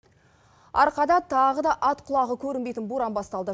арқада тағы да ат құлағы көрінбейтін боран басталды